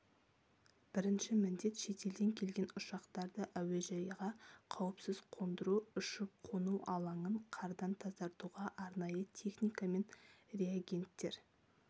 бірінші міндет шетелден келген ұшақтарды әуежайға қауіпсіз қондыру ұшып-қону алаңын қардан тазартуға арнайы техника мен реагенттер